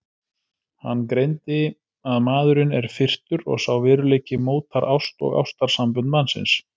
Hann greindi að maðurinn er firrtur og sá veruleiki mótar ást og ástarsambönd mannsins.